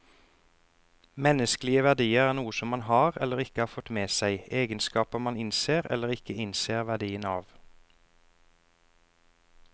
Menneskelige verdier er noe som man har, eller ikke har fått med seg, egenskaper man innser eller ikke innser verdien av.